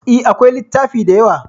E, akwai littafi da yawa.